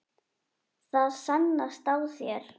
Það sannast á þér.